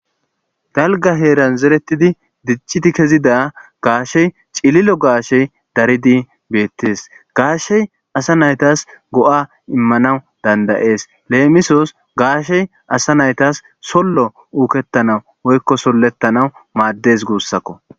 Dalgga heeran zerettidi diccidi kezida gashshey ciilillo gashshey dariddi bettess gashshey assa naytas go'a immanawu danda'es lemissos gashshey asa naytas solo uukettanawu woyko soletanawu maadess guusakko.